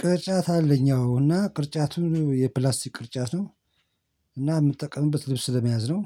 ቅርጫት አለኝ አዎ እና ቅርጫቱ የፕላስቲክ ቅርጫት ነው። እና ምጠቀምበት ልብስ ለመያዝ ነው።